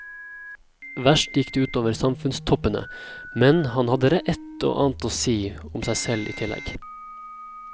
Verst gikk det ut over samfunnstoppene, men han hadde ett og annet å si om seg selv i tillegg.